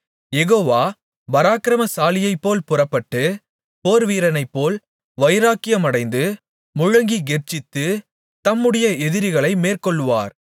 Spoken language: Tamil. யெகோவா பராக்கிரமசாலியைப்போல் புறப்பட்டு போர்வீரனைப்போல் வைராக்கியமடைந்து முழங்கிக் கெர்ச்சித்து தம்முடைய எதிரிகளை மேற்கொள்ளுவார்